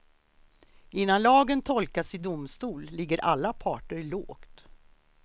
Innan lagen tolkats i domstol ligger alla parter lågt.